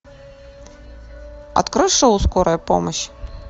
открой шоу скорая помощь